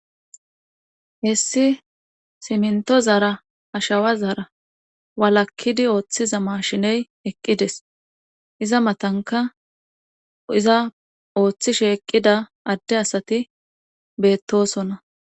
Hessi siminto zara ashawa zara walakkidi ooththiza mashiney eqqides iza matanka iza ooththi sheeqqida adde asati beettosona